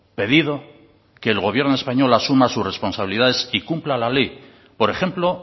pedido que el gobierno español asuma sus responsabilidades y cumpla la ley por ejemplo